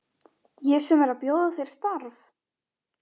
Ég sem er að bjóða þér starf!